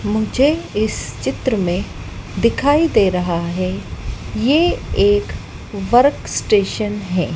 मुझे इस चित्र मे दिखाई दे रहा है ये एक वर्क स्टेशन है।